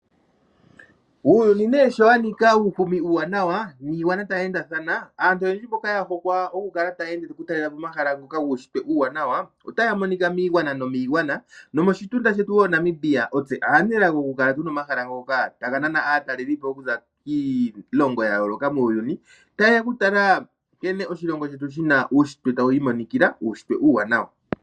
Uuyuni nee sho wa nika uuhumi uuwaanawa niigwana tayi endathana, aantu oyendji mboka ya hokwa noku talela po omahala ngoka guunshitwe uuwaanawa otaya monika miigwana nomiigwana, nomoshitunda shetu Namibia otse aanelago oku kala tuna omahala ngoka taga nana aataleli po okuza kiilongo ya yooloka muuyuni, taye ya oku tala nkene oshilongo shetu shina uunshitwe tawu imonikila, uunshitwe uuwanawa.